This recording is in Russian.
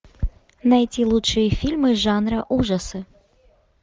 найти лучшие фильмы жанра ужасы